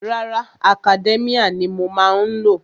Rárá, Academia ni mo má ń lò.